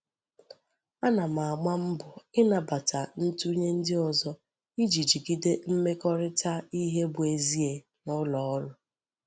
Ana m agba mbo inabata ntunye ndi ozo Iji jigide mmekorita ihe bu ezi e n'uloru.